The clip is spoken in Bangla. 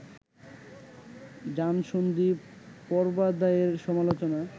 যানসন্ধি-পর্বাধ্যায়ের সমালোচনা